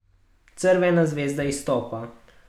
Crvena zvezda izstopa.